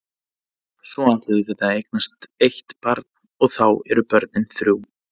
Svo ætlum við að eignast eitt barn og þá eru börnin þrjú.